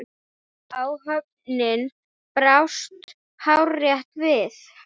Áhöfnin brást hárrétt við.